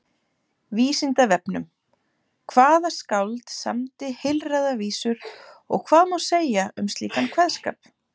Frekara lesefni á Vísindavefnum: Hvaða skáld samdi heilræðavísur og hvað má segja um slíkan kveðskap?